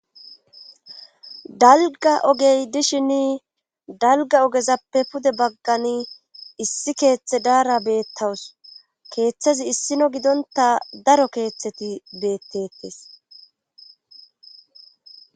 dalga ogey dishin dalga ogezappe pude baggani issi keeththe daara beettawus keeththazi issino gidonta daro keeththeti beettettes